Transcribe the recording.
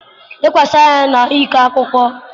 lekwasịrị anya na ịkọ akụkọ.